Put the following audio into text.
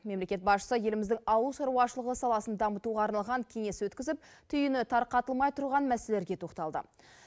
мемлекет басшысы еліміздің ауыл шаруашылығы саласын дамытуға арналған кеңес өткізіп түйіні тарқатылмай тұрған мәселелерге тоқталды